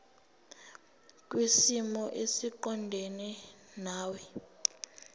kwisimo esiqondena nawe